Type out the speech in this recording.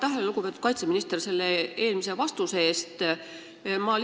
Aitäh, lugupeetud kaitseminister, eelmise vastuse eest!